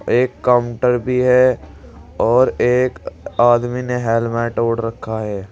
एक काउंटर भी है और एक आदमी ने हेलमेट ओढ़ रखा है।